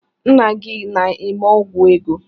Ńnà gị na-eme ọgwụ ego.